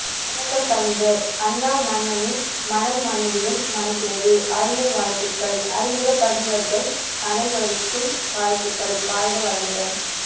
வணக்கம் கவிஞர் அண்ணா மண்ணின் மணம் மனதிலும் மணக்கிறது அருமை வாழ்த்துக்கள் அறிமுகப் பதிவர்கள் அபைவருக்கும் வாழ்த்துக்கள் வாழ்க வளமுடன்